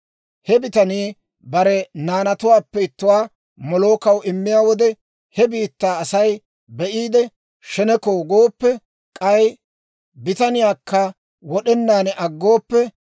He bitanii bare naanatuwaappe ittuwaa Molookaw immiyaa wode, he biittaa Asay be'iide, sheneko gooppe, k'ay bitaniyaakka wod'enaan aggooppe,